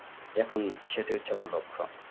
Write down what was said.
এখন সেটাই হচ্ছে মতো আমার লক্ষ্য